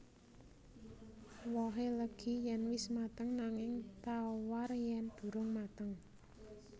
Wohé legi yèn wis mateng nanging tawar yèn durung mateng